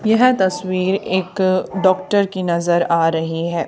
यह तस्वीर एक डॉक्टर की नजर आ रही है।